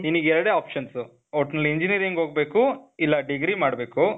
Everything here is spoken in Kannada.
ನಿನಿಗ್ ಎರಡೇ options. ಒಟ್ನಲ್ಲಿ engineering ಹೋಗ್ಬೇಕು, ಇಲ್ಲ degree ಮಾಡ್ಬೇಕು.